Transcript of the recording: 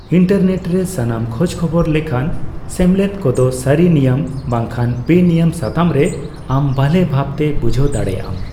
Internet ᱨᱮ ᱥᱟᱢᱟᱱᱚ ᱠᱷᱚᱡᱠᱷᱚᱵᱚᱨ ᱞᱮᱠᱷᱟᱱ ᱥᱮᱢᱞᱮᱫ ᱠᱚᱫᱚ ᱥᱟᱨᱤ ᱱᱤᱭᱟᱹᱢ ᱵᱟᱝᱠᱷᱟᱟᱝ ᱵᱮᱱᱤᱭᱟᱹᱢ ᱥᱟᱛᱟᱢ ᱨᱮ ᱟᱢ ᱵᱷᱟᱞᱮ ᱵᱷᱟᱵᱛᱮ ᱵᱩᱡᱷᱟᱹᱣ ᱫᱟᱨᱮᱭᱟᱜ ᱟᱢ ᱾